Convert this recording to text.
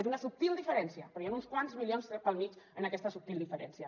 és una subtil diferència però hi han uns quants milions pel mig en aquesta subtil diferència